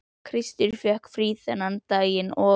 Kristur fékk frí þennan daginn og